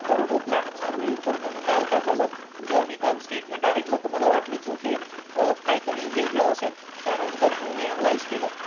तरुण तो प्लॅन चालू आहे तर मग काल काय झालं जेंव्हा मी काल स्टेटमेंट ऐकलं तर मला वाटलं की ओके काहीतरी वेगळं असेल त्यानंतर मी ऐनलाईझ केलं.